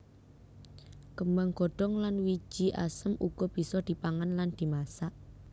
Kembang godhong lan wiji asem uga bisa dipangan lan dimasak